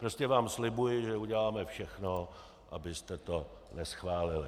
Prostě vám slibuji, že uděláme všechno, abyste to neschválili.